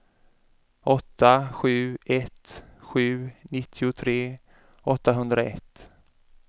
åtta sju ett sju nittiotre åttahundraett